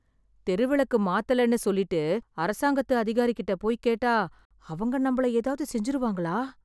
தெரு விளக்கு மாத்தலன்னு சொல்லிட்டு அரசாங்கத்து அதிகாரிகிட்ட போய் கேட்டா அவங்க நம்மள ஏதாவது செஞ்சுருவாங்களா?